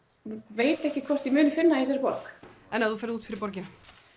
veit ekki hvort ég muni finna í þessari borg en ef þú ferð út fyrir borgina